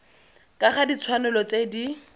ka ga ditshwanelo tse di